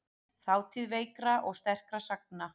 Þátíð veikra og sterkra sagna.